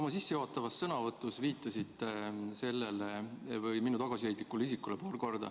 Oma sissejuhatavas sõnavõtus viitasite te paar korda minu tagasihoidlikule isikule.